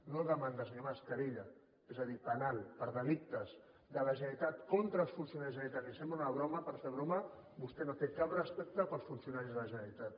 no demanda senyor mas querella és a dir penal per delictes de la generalitat contra els funcionaris de la generalitat li sembla una broma per fer broma vostè no té cap respecte pels funcionaris de la generalitat